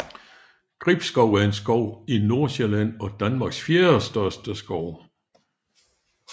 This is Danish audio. Gribskov er en skov i Nordsjælland og Danmarks fjerdestørste skov